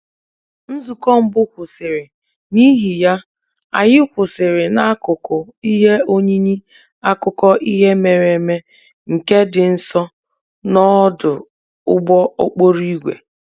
Nzukọ mbụ kwụsịrị, n'ihi ya, anyị kwụsịrị n'akụkụ ihe oyiyi akụkọ ihe mere eme nke dị nso n'ọdụ ụgbọ okporo ígwè